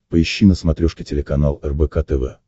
поищи на смотрешке телеканал рбк тв